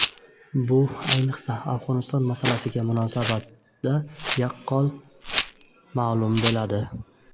Bu, ayniqsa, Afg‘oniston masalasiga munosabatda yorqin namoyon bo‘ladi.